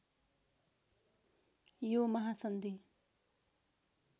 यो महासन्धि